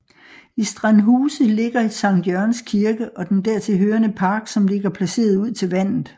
I Strandhuse ligger Sankt Jørgens Kirke og den dertilhørende park som ligger placeret ud til vandet